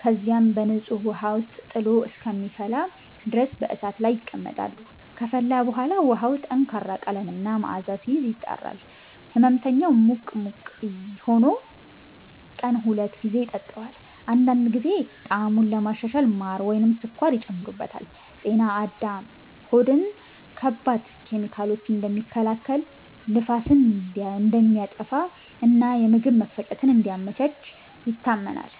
ከዚያም በንጹህ ውሃ ውስጥ ጥሎ እስከሚፈላ ድረስ በእሳት ላይ ይቀመጣሉ። ከፈላ በኋላ ውሃው ጠንካራ ቀለም እና መዓዛ ሲይዝ፣ ይጣራል። ሕመምተኛው ሙቅ ሙቅ ሆኖ ቀን ሁለት ጊዜ ይጠጣዋል። አንዳንድ ጊዜ ጣዕሙን ለማሻሻል ማር ወይም ስኳር ይጨመርበታል። “ጤና አዳም” ሆድን ከባድ ኬሚካሎች እንደሚከላከል፣ ንፋስን እንደሚያጠፋ እና የምግብ መፈጨትን እንደሚያመቻች ይታመናል።